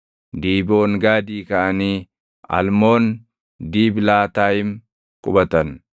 Diiboongaadii kaʼanii Almoon Diiblaatayim qubatan.